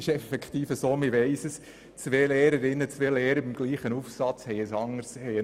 Es ist effektiv so, dass zwei Lehrpersonen denselben Aufsatz anders beurteilen.